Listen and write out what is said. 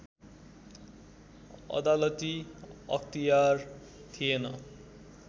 अदालती अख्तियार थिएन